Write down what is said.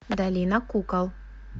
долина кукол